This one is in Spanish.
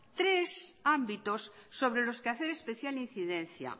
tres ámbitos sobre los que hacer especial incidencia